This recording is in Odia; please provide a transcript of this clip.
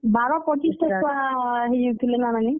ବାର, ପଚିସ୍ ଟା ଛୁଆ ହେଇଯେଇଥିଲେ ନା ନାନୀ?